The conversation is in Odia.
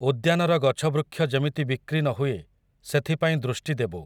ଉଦ୍ୟାନର ଗଛବୃକ୍ଷ ଯେମିତି ବିକ୍ରି ନ ହୁଏ, ସେଥିପାଇଁ ଦୃଷ୍ଟି ଦେବୁ ।